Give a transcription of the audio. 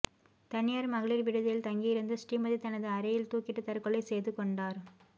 தனியார் மகளிர் விடுதியில் தங்கியிருந்த ஸ்ரீமதி தனது அறையில் தூக்கிட்டு தற்கொலை செய்து கொண்டார்